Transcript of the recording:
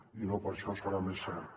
i no per això deu ser més cert